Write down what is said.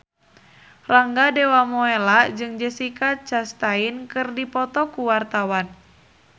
Rangga Dewamoela jeung Jessica Chastain keur dipoto ku wartawan